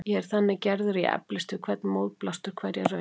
Ég er þannig gerður að ég eflist við hvern mótblástur, hverja raun.